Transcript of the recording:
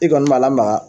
I kɔni b'a lamaga